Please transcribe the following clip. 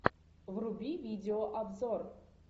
вруби видеообзор